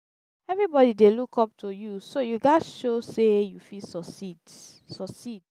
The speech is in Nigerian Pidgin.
everybody dey look up to you so you gats show sey you fit succeed. succeed.